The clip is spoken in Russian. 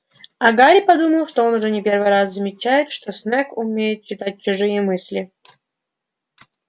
а гарри подумал он уже не первый раз замечает что снегг умеет читать чужие мысли